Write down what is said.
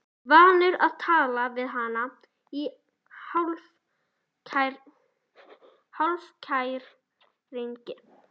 Vanur að tala við hana í hálfkæringi.